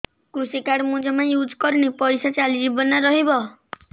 କୃଷି କାର୍ଡ ମୁଁ ଜମା ୟୁଜ଼ କରିନି ପଇସା ଚାଲିଯିବ ନା ରହିବ